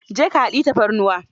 Je ka ka hadiyi tafarnuwa.